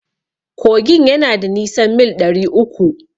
Kogin yana da nisan mil ɗari uku.